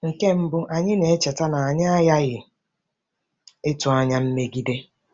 Nke mbụ, anyị na-echeta na anyị aghaghị ịtụ anya mmegide.